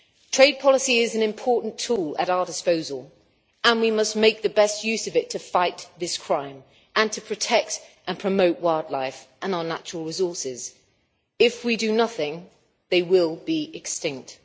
Trade policy is an important tool at our disposal and we must make the best use of it to fight this crime, and to protect and promote wildlife and our natural resources. If we do nothing, they will be extinct.